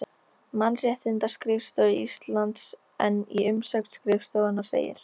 Mannréttindaskrifstofu Íslands en í umsögn skrifstofunnar segir